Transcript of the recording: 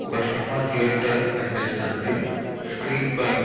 ఒక cinema theatre కనిపిస్తుంది screen పైన--